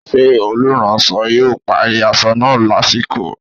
Ṣé olùránsọ yóò parí aṣọ náà lásìkò?